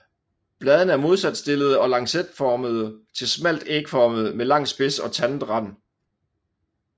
Bladene er modsat stillede og lancetformede til smalt ægformede med lang spids og tandet rand